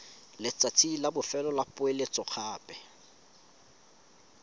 letsatsi la bofelo la poeletsogape